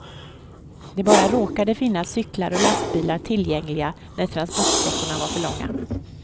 Det bara råkade finnas cyklar och lastbilar tillgängliga, när transportsträckorna var för långa.